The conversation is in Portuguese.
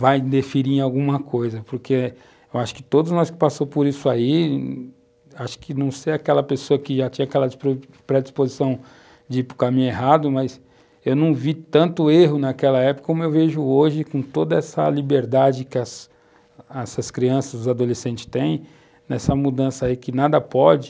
vai definir alguma coisa, porque eu acho que todos nós que passamos por isso aí, acho que não sei aquela pessoa que já tinha aquela predisposição de ir para o caminho errado, mas eu não vi tanto erro naquela época como eu vejo hoje, com toda essa liberdade que essas crianças, os adolescentes têm, nessa mudança aí que nada pode,